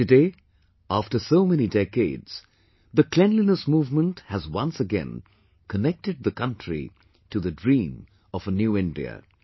Today after so many decades, the cleanliness movement has once again connected the country to the dream of a new India